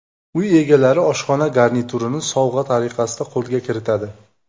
Uy egalari oshxona garniturini sovg‘a tariqasida qo‘lga kiritadi.